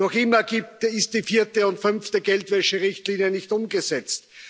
Noch immer ist die vierte und fünfte Geldwäscherichtlinie nicht umgesetzt.